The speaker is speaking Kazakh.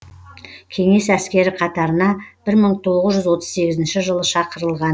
кеңес әскері қатарына бір мың тоғыз жүз отыз сегізінші жылы шақырылған